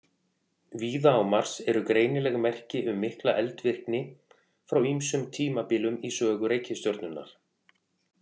Víða á Mars eru greinileg merki um mikla eldvirkni frá ýmsum tímabilum í sögu reikistjörnunnar.